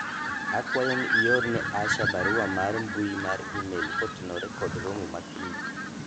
akwayo ni ione Asha barua mar mbui mar email kotenore kod romo ma Kiny